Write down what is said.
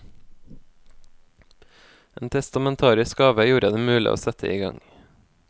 En testamentarisk gave gjorde det mulig å sette i gang.